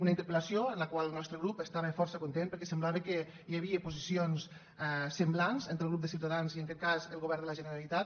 una interpel·lació amb la qual el nostre grup estava força content perquè semblava que hi havia posicions semblants entre el grup de ciutadans i en aquest cas el govern de la generalitat